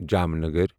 Jamnagar